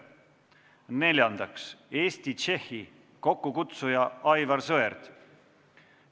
Neljandaks, Eesti-Tšehhi, kokkukutsuja on Aivar Sõerd.